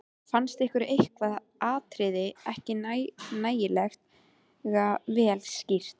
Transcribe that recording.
Fannst honum eitthvað atriði ekki nægilega vel skýrt.